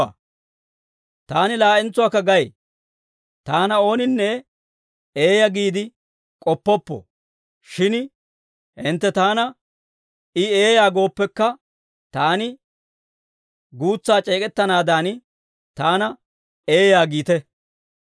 Taani laa"entsuwaakka gay; taana ooninne eeyaa giide k'oppoppo; shin hintte taana, I eeyaa gooppekka, taani guutsaa c'eek'ettanaadan, taana eeyaa giite.